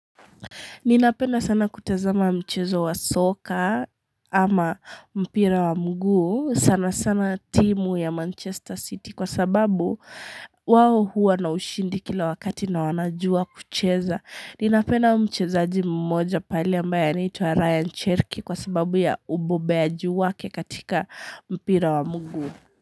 Ninapenda sana kutazama mchezo wa soka ama mpira wa mguu sana sana timu ya Manchester City kwa sababu wao huwa na ushindi kila wakati na wanajua kucheza. Ninapenda mchezaji mmoja pale ambaye nitwa Ryan Cherky kwa sababu ya ubobeaji wake katika mpira wa mguu.